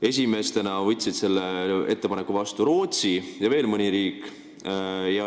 Esimesena võtsid selle ettepaneku vastu Rootsi ja veel mõni riik.